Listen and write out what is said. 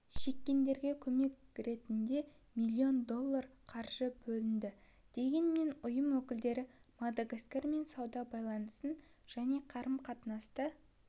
шеккендерге көмек ретінде млн доллар қаржы бөлді дегенмен ұйым өкілдері мадагаскармен сауда байланысын және қарым-қатынасты